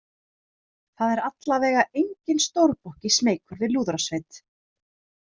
Það er alla vega enginn stórbokki smeykur við lúðrasveit.